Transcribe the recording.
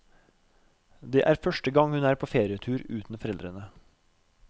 Det er første gang hun er på ferietur uten foreldre.